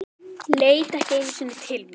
Leit ekki einu sinni til mín.